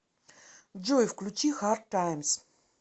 джой включи хард таймс